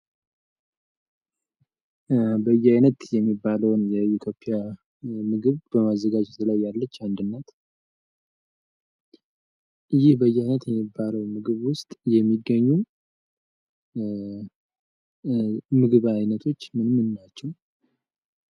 በእየአይነት የሚባለውን የኢትዮጵያ ምግብ በማዘጋጀት ላይ ያለች አንድ እናት ። ይህ በእየአይንት የሚባለው ምግብ ውስጥ የሚገኙ ምግብ አይነቶች ምን ምን ናቸው?